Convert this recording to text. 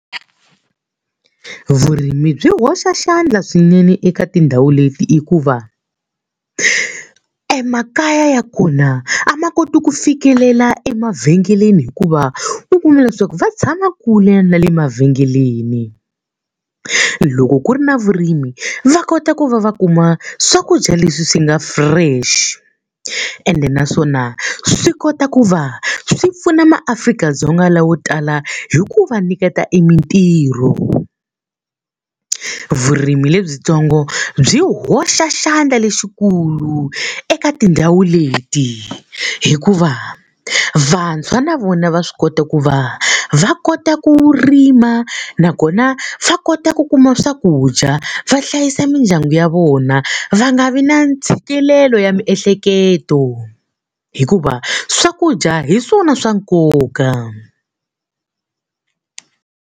Vurimi byi hoxa xandla swinene eka tindhawu leti hikuva, emakaya ya kona a ma koti ku fikelela emavhengeleni hikuva u kuma leswaku va tshama ku kule na le mavhengeleni. Loko ku ri na vurimi va kota ku va va kuma swakudya leswi swi nga fresh ende naswona swi kota ku va swi pfuna maAfrika-Dzonga lavo tala hi ku va nyiketa e mitirho. Vurimi lebyintsongo byi hoxa xandla lexikulu eka tindhawu leti hikuva, vantshwa na vona va swi kota ku va va kota ku ri rima nakona va kota ku kuma swakudya va hlayisa mindyangu ya vona va nga vi na ntshikelelo ya miehleketo. Hikuva swakudya hi swona swa nkoka.